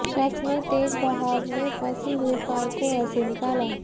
शख्स ने तेज बहाव में फंसी हुई कार को ऐसे निकाला